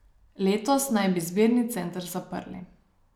Letos naj bi zbirni center zaprli.